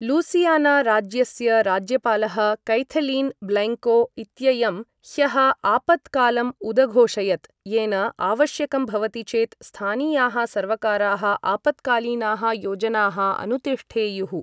Louisiana राज्यस्य राज्यपालः कैथलीन् ब्लैङ्को इत्ययं ह्यः आपत्कालम् उदघोषयत्, येन आवश्यकं भवति चेत् स्थानीयाः सर्वकाराः आपत्कालीनाः योजनाः अनुतिष्ठेयुः।